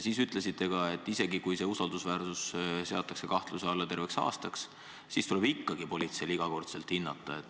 Te ütlesite ka nii, et isegi kui usaldusväärsus seatakse kahtluse alla terveks aastaks, tuleb ikkagi politseil seda iga kord hinnata.